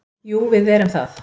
Jú, við erum það.